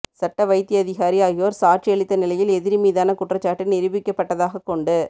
சட்ட வைத்தியதிகாரி ஆகியோர் சாட்சியமளித்த நிலையில் எதிரி மீதான குற்றச்சாட்டு நிரூபிக்கப்பட்டதாகக்கொண்டு